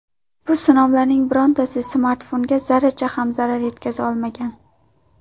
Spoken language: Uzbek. Bu sinovlarning birortasi smartfonga zarracha ham zarar yetkaza olmagan.